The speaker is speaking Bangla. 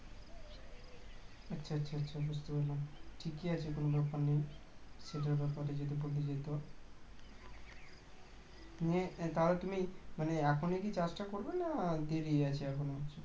আচ্ছা আচ্ছা আচ্ছা আচ্ছা বুঝতে পারলাম কি কি যাচ্ছে তোমাদের ওখানে সেটার ব্যাপার এ যদি বলা যেত মানে তাহলে তুমি এখনই কি চাষটা করবে না দেরি আছে এখনো